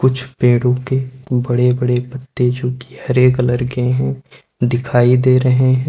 कुछ पेड़ों के बड़े बड़े पत्ते जो कि हरे कलर के हैं दिखाई दे रहे हैं।